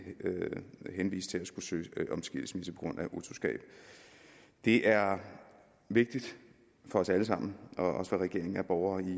henvist til at skulle søge om skilsmisse på grund af utroskab det er vigtigt for os alle sammen og også for regeringen at borgere i